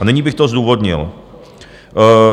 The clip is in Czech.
A nyní bych to zdůvodnil.